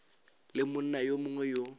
le monna yo mongwe yo